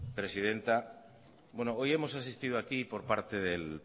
presidenta bueno hoy hemos asistido aquí por parte del